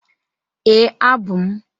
Ee, abụ m.